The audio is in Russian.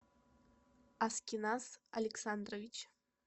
аскиназ александрович